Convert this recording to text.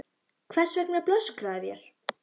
Hvers vegna blöskraði þér?